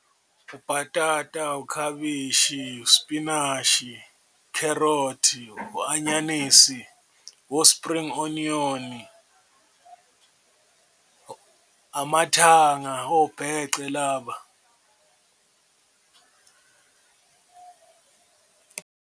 Ubhatata, ukhabishi, uspinashi, ukherothi, u-anyanisi, o-spring onion, amathanga obhece laba.